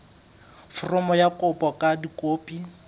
foromo ya kopo ka dikopi